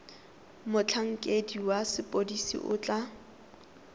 motlhankedi wa sepodisi o tla